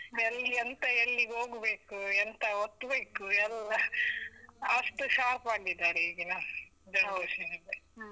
ಎಲ್ಲಿ ಎಂತ ಎಲ್ಲಿಗ್ ಹೋಗ್ಬೇಕು, ಎಂತ ಒತ್ತ್ಬೇಕು ಎಲ್ಲ, ಅಷ್ಟು sharp ಆಗಿದರೆ ಈಗಿನ generation ನಿಗೆ.